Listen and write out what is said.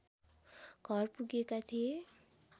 घर पुगेका थिए